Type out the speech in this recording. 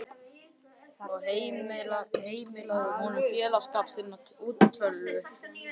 og heimilaðu honum félagsskap þinnar útvöldu hjarðar.